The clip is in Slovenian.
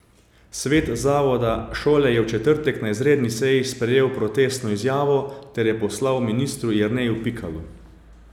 Svet zavoda šole je v četrtek na izredni seji sprejel protestno izjavo ter jo poslal ministru Jerneju Pikalu.